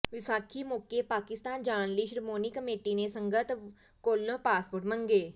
ਵਿਸਾਖੀ ਮੌਕੇ ਪਾਕਿਸਤਾਨ ਜਾਣ ਲਈ ਸ਼੍ਰੋਮਣੀ ਕਮੇਟੀ ਨੇ ਸੰਗਤ ਕੋਲੋਂ ਪਾਸਪੋਰਟ ਮੰਗੇ